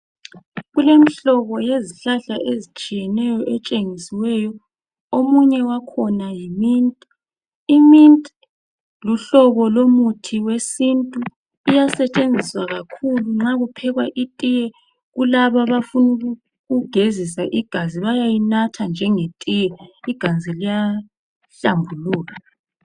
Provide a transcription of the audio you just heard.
Kulemihlobo yezihlahla ezitshiyeneyo etshengisiweyo omunye wakhona yiminti ,iminti luhlobo lomuthi wesintu iyasetshenziswa kakhulu nxa kuphekwa itiye ,kulaba abafuna ukugezisa igazi bayayinatha njenge tiye igazi liyahlambuluka.